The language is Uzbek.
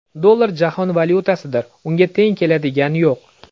Dollar jahon valyutasidir, unga teng keladiga yo‘q.